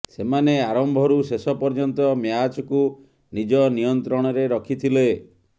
ସେମାନେ ଆରମ୍ଭରୁ ଶେଷ ପର୍ଯ୍ୟନ୍ତ ମ୍ୟାଚ୍କୁ ନିଜ ନିୟନ୍ତ୍ରଣରେ ରଖିଥିଲେ